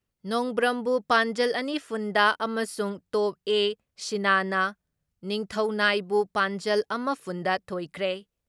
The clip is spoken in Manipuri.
ꯅꯣꯡꯕ꯭ꯔꯝꯕꯨ ꯄꯥꯟꯖꯜ ꯑꯅꯤꯐꯨꯟ ꯗ ꯑꯝꯁꯨꯡ ꯇꯣꯞ ꯑꯦ.ꯁꯤꯅꯅ ꯅꯤꯡꯊꯧꯅꯥꯏꯕꯨ ꯄꯥꯟꯖꯜ ꯑꯃꯐꯨꯟ ꯗ ꯊꯣꯏꯈ꯭ꯔꯦ ꯫